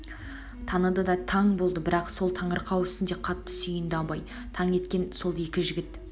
таныды да таң болды бірақ сол таңырқау үстінде қатты сүйнді абайды таң еткен сол екі жігіт